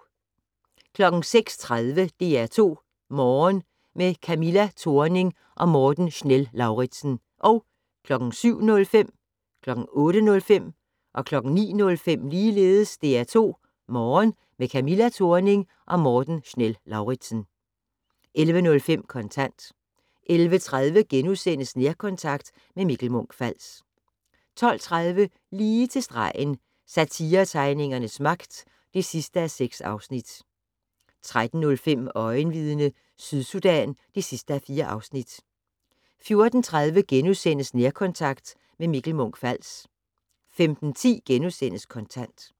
06:30: DR2 Morgen - med Camilla Thorning og Morten Schnell-Lauritzen 07:05: DR2 Morgen - med Camilla Thorning og Morten Schnell-Lauritzen 08:05: DR2 Morgen - med Camilla Thorning og Morten Schnell-Lauritzen 09:05: DR2 Morgen - med Camilla Thorning og Morten Schnell-Lauritzen 11:05: Kontant 11:30: Nærkontakt - med Mikkel Munch-Fals * 12:30: Lige til stregen - Satiretegningernes magt (6:6) 13:05: Øjenvidne - Sydsudan (4:4) 14:30: Nærkontakt - med Mikkel Munch-Fals * 15:10: Kontant *